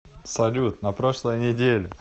салют на прошлой неделе